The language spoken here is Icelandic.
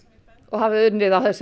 og hafið unnið á